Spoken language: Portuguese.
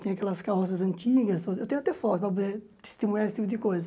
tem aquelas carroças antigas, eu tenho até foto para poder estimular esse tipo de coisa.